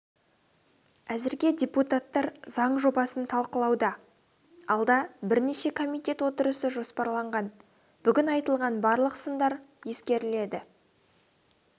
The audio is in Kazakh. әзірге депутаттар заң жобасын талқылауда алда бірнеше комитет отырысы жоспарланған бүгін айтылған барлық сындар ескеріледі